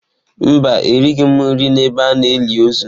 Mba, erighị m nri n'ebe a na-eli ozu.